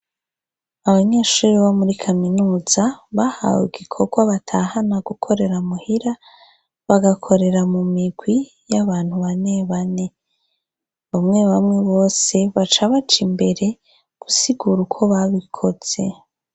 Abanyeshure bo muri kaminuza bahawe igikorwa batahana gukorera muhira, bagakorera mu mirwi y'abantu bane bane. Bamwe bamwe bose baca baja imbere gusigura uko babikoze.